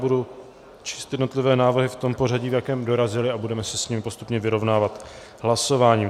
Budu číst jednotlivé návrhy v tom pořadí, v jakém dorazily, a budeme se s tím postupně vyrovnávat hlasováním.